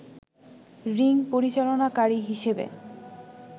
ring পরিচালনাকারী হিসেবে